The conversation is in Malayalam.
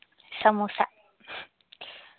സമൂസ